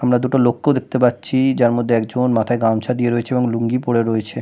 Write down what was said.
আমরা দুটো লোকেও দেখতে পাচ্ছি যার মধ্যে একজন মাথায় গামছা দিয়ে রয়েছে এবং লুঙ্গি পরে রয়েছে।